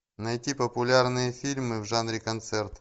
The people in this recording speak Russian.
найти популярные фильмы в жанре концерт